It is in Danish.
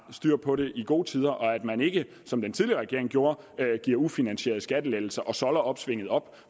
styr på den i gode tider og at man ikke som den tidligere regering gjorde giver ufinansierede skattelettelser og solder opsvinget op